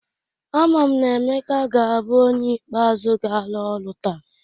Ama m na Emeka ga-abụ onye ikpe azụ ga-ala ọrụ taa.